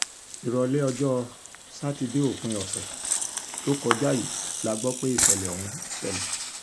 ìrọ̀lẹ́ ọjọ́ sátidé òpin ọ̀sẹ̀ tó kọjá yìí la gbọ́ pé ìṣẹ̀lẹ̀ ọ̀hún ṣẹlẹ̀